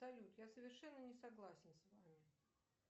салют я совершенно не согласна с вами